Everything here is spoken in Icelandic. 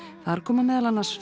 þar koma meðal annars